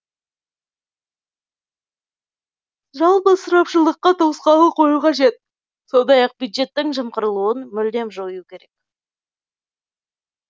жалпы ысырапшылдыққа тосқауыл қою қажет сондай ақ бюджеттің жымқырылуын мүлдем жою керек